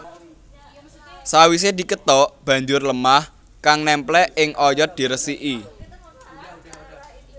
Sawisé dikethok banjur lêmah kang némplék ing oyot dirêsiki